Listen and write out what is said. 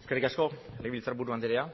eskerrik asko legebiltzarburu andrea